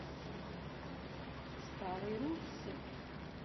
старой руссы